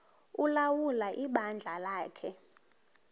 ulawula ibandla lakhe